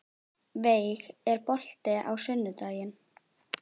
Veig, er bolti á sunnudaginn?